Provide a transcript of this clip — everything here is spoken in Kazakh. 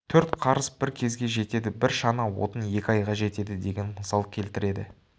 төрт қарыс бір кезге жетеді бір шана отын екі айға жетеді деген мысал келтіреді